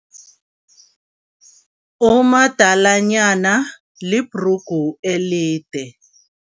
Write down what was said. Umadalanyana libhrugu elide.